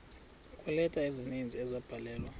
kweeleta ezininzi ezabhalelwa